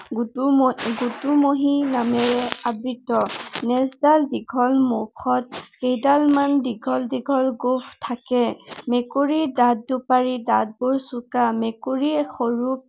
গোটো, গোটোমহী নোমেৰে আবৃত। নেঁজ ডাল দীঘল, মুখত কেইদালমান দীঘল দীঘল গোঁফ থাকে। মেকুৰীৰ দাঁত দুপাৰী। দাঁতবোৰ চোঁকা, মেকুৰী সৰু